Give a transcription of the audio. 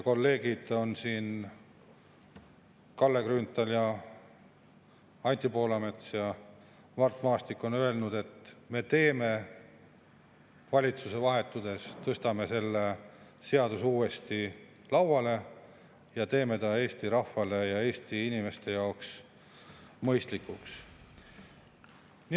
Kolleegid Kalle Grünthal, Anti Poolamets ja Mart Maastik on siin öelnud, et me valitsuse vahetudes tõstame selle seaduse uuesti lauale ja teeme selle Eesti rahva ja Eesti inimeste jaoks mõistlikuks.